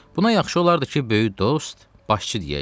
Buna yaxşı olardı ki, böyük dost, başçı deyəydin.